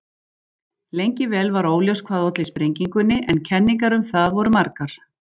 Lengi vel var óljóst hvað olli sprengingunni en kenningar um það voru margar.